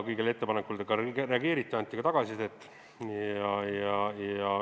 Kõigile ettepanekutele reageeriti, anti tagasisidet.